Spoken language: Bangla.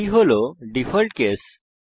এটি ডিফল্ট কেস